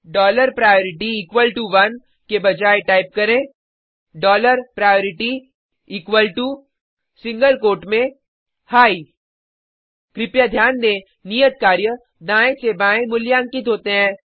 dollar priority equal to one के बजाय type करें dollar priority equal to single quote में हिघ कृपया ध्यान दें नियत कार्य दायें से बायें मूल्यांकित होते हैं